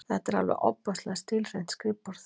Þetta er alveg ofboðslega stílhreint skrifborð!